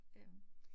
Øh